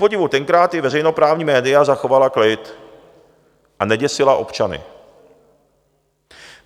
Kupodivu tenkrát i veřejnoprávní média zachovala klid a neděsila občany.